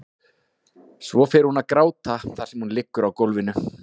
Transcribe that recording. Svo fer hún að gráta þar sem hún liggur á gólfinu.